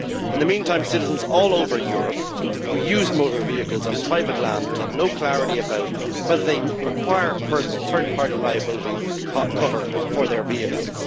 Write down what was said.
In the meantime, citizens all over Europe who use motor vehicles on private land will have no clarity about whether they require third party liability cover for their vehicles.